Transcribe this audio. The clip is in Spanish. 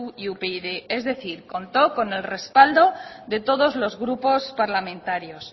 y upyd es decir contó con el respaldo de todos los grupos parlamentarios